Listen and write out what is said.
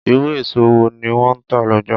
Irú èso wọ́n ni wọn ń tà lọ́jà